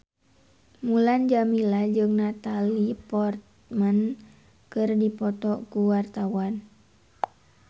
Mulan Jameela jeung Natalie Portman keur dipoto ku wartawan